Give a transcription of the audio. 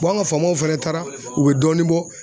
an ka faamaw fana taara u bɛ dɔɔnin bɔ.